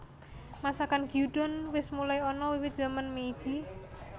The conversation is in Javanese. Masakan Gyudon wis mulai ana wiwit zaman Meiji